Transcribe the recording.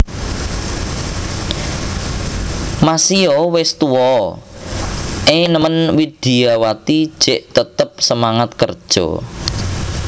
Masio wes tuwa e nemen Widyawati jek tetep semangat kerja